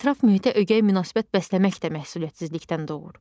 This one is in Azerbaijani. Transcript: Ətraf mühitə ögey münasibət bəsləmək də məsuliyyətsizlikdən doğur.